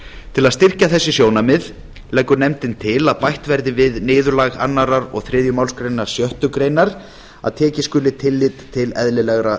til að styrkja þessi sjónarmið leggur nefndin til að bætt verði við niðurlag annað og þriðju málsgrein sjöttu grein að tekið skuli tillit til eðlilegra